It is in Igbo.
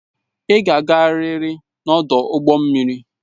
Ị ga-agarịrị n'ọdụ ụgbọ mmiri!